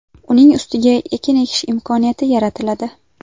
Uning ustiga ekin ekish imkoniyati yaratiladi.